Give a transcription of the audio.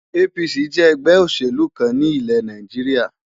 APC jẹ́ ẹgbẹ́ òṣèlú kan ní ilẹ̀ Nàìjíríà.